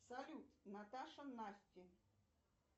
салют наташа насти